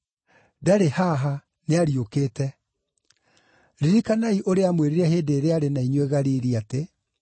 Ndarĩ haha; nĩariũkĩte! Ririkanai ũrĩa aamwĩrire hĩndĩ ĩrĩa aarĩ na inyuĩ Galili atĩ: